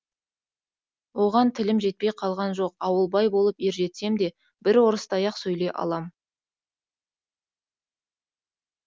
оған тілім жетпей қалған жоқ ауылбай болып ержетсем де бір орыстай ақ сөйлей алам